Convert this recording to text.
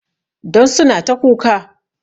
Don suna ta kuka